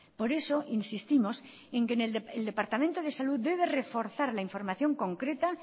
por eso insistimos en que el departamento de salud debe reforzar la información concreta